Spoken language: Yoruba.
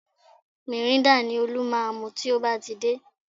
Mìrîńdà ni Olú máa mu tó bá ti dé